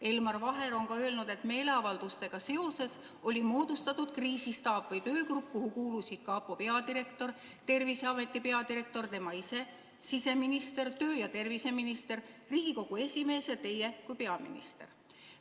Elmar Vaher on ka öelnud, et meeleavaldustega seoses moodustati kriisistaap või töögrupp, kuhu kuulusid kapo peadirektor, Terviseameti peadirektor, tema ise, siseminister, tervise- ja tööminister, Riigikogu esimees ja teie kui peaminister.